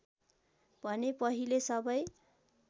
भने पहिले सबै